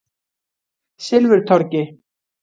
Silfurtorgi